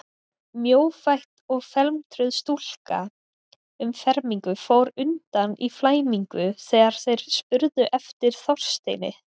Mjófætt og felmtruð stúlka um fermingu fór undan í flæmingi þegar þeir spurðu eftir Þorsteini.